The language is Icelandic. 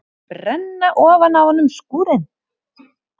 Brenna ofan af honum skúrinn!